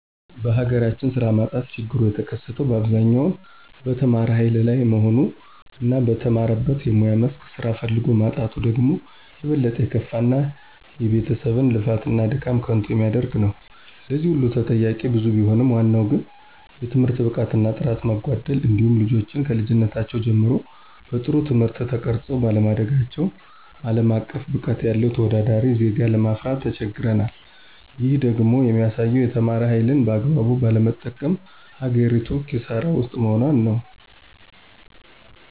በሀገራችን ስራ ማጣት ችግሩ የተከሰተው በአብዛኛው በተማረ ሀይል ላይ መሆኑ እና በተማረበት የሙያ መስክ ስራ ፈልጎ ማጣቱ ደግሞ የበለጠ የከፋ እና የቤተሰብን ልፋት እና ድካም ከንቱ የሚያደርግ ነው። ለዚህ ሁሉ ተጠያቂዉ ብዙ ቢሆንም ዋናው ግን የትምህርት ብቃት እና ጥራት መጓደል እንዲሁም ልጆችን ከልጅነታቸው ጀምረው በጥሩ ትምህርት ተቀርፀው ባለማደጋቸው አለም አቀፍ ብቃት ያለው ተወዳዳሪ ዜጋ ለማፍራት ተቸግረናል። ይህም ደግሞ የሚያሳየው የተማረ ሀይልን በአግባቡ ባለመጠቀም ሀገሪቱ ክሳራ ውስጥ መሆኗን ነው።